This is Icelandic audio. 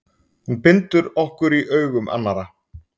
Hún bindur okkur í augum annarra.